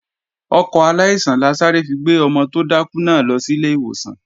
Ọkọ̀ aláìsàn la sáré fi gbé ọmọ tó dákú náà lọ sílé ìwòsàn